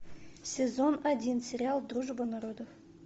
сезон один сериал дружба народов